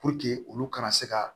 olu kana se ka